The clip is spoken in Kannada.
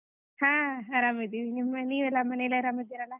ಹಾ ಆರಾಮ್ ಇದೀವಿ, ನೀವೆಲ್ಲಾ ಮನೇಲಿ ಆರಾಮ್ ಇದಿರಲಾ?